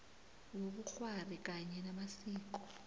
wobukghwari kanye namasiko